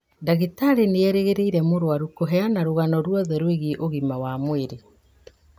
Ndagĩtarĩ nĩerĩgĩrĩire mũrwaru kũheana rũgano ruothe rwigiĩ ũgima wa mwĩrĩ